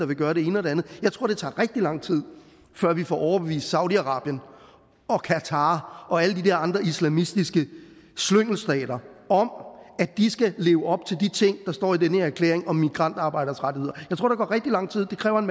vil gøre det ene og det andet jeg tror det tager rigtig lang tid før vi får overbevist saudi arabien og qatar og alle de der andre islamistiske slyngelstater om at de skal leve op til de ting der står i den her erklæring om migrantarbejderes rettigheder jeg tror der går rigtig lang tid det kræver en